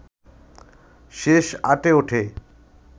শেষ আটে ওঠে